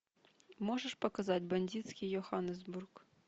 можешь показать бандитский йоханнесбург